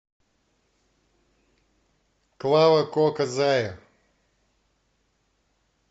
клава кока зая